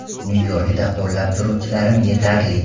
Nyu-Yorkda qo‘llab turuvchilarim yetarli.